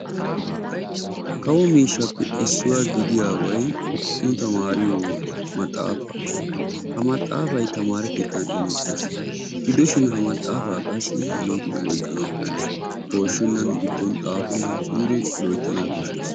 Kawo miishshappe issuwaa gidiyaabay nu taamariyoo maxaafaa. ha maaxafay taamare keettan imettees. gidoshin ha maxaafaa qassi loyttidi oyqqanawu koshshees. pooshshennan giddon xaafennan suure loyttanawu koshshees.